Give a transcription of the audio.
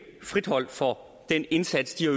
friholdt for den indsats de har